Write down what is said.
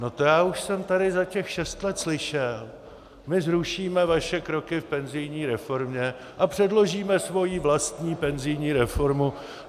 No, to já už jsem tady za těch šest let slyšel - my zrušíme vaše kroky v penzijní reformě a předložíme svoji vlastní penzijní reformu.